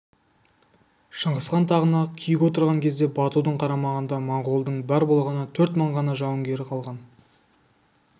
шыңғысхан тағына күйік отырған кезде батудың қарамағында монғолдың бар болғаны төрт мың ғана жауынгері қалған